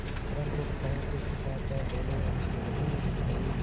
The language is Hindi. परंतु भावों को छिपा कर बोलेअलगू ही सही